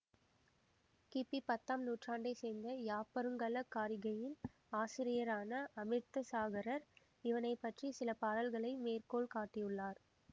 கிபிபத்தாம் நூற்றாண்டை சேர்ந்த யாப்பருங்கல காரிகையின் ஆசிரியரான அமிர்தசாகரர் இவனைப்பற்றிய சில பாடல்களை மேற்கோள் காட்டியுள்ளார்